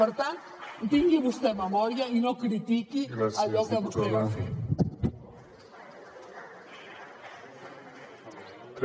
per tant tingui vostè memòria i no critiqui allò que vostè va fer